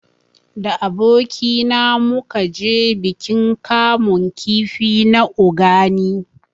Da aboki na mu ka je bikin kamun kifi na Ogani